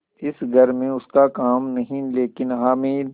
इस घर में उसका काम नहीं लेकिन हामिद